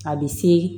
A bɛ se